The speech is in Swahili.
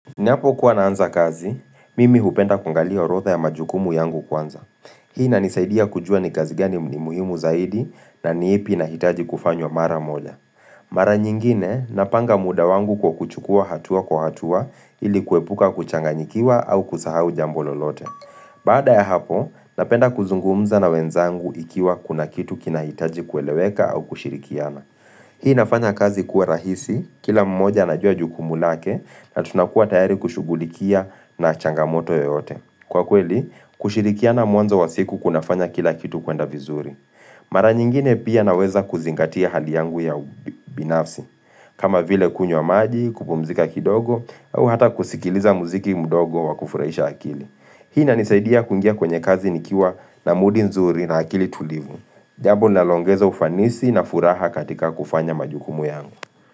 Ninapokuwa naanza kazi, mimi hupenda kuangalia orotha ya majukumu yangu kwanza. Hii inanisaidia kujua ni kazi gani ni muhimu zaidi na ni ipi inahitaji kufanywa mara moja. Mara nyingine, napanga muda wangu kwa kuchukua hatua kwa hatua ili kuepuka kuchanganyikiwa au kusahau jambo lolote. Baada ya hapo, napenda kuzungumza na wenzangu ikiwa kuna kitu kinahitaji kueleweka au kushirikiana. Hii nafanya kazi kuwa rahisi, kila mmoja anajua jukumu lake na tunakuwa tayari kushugulikia na changamoto yoyote. Kwa kweli, kushirikiana mwanzo wa siku kunafanya kila kitu kuenda vizuri. Mara nyingine pia naweza kuzingatia hali yangu ya binafsi, kama vile kunywa maji, kupumzika kidogo, au hata kusikiliza muziki mdogo wa kufurahisha akili. Hii inanisaidia kuingia kwenye kazi nikiwa na mood nzuri na akili tulivu. Jambo linaloongeza ufanisi na furaha katika kufanya majukumu yangu.